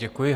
Děkuji.